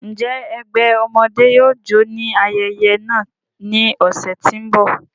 Njẹ ẹgbẹ ọmọde yóò jó ni ayẹyẹ naa ni ọsẹ ti n bọ?